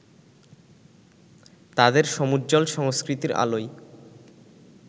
তাঁদের সমুজ্জ্বল সংস্কৃতির আলোয়